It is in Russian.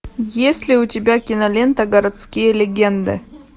есть ли у тебя кинолента городские легенды